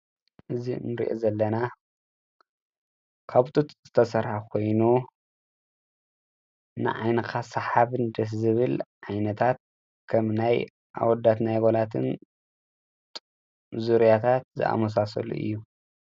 እዚ እንሪኦ ዘለና ካብ ጡጥ ዝተሰርሐ ኮይኑ ንዓይንኻ ሰሓብን ደስ ዝብል ዓይነታት ከም ናይ ኣወዳት ናይ ኣጓላትን ዙርያታት ዝኣመሳሰሉ እዩ ።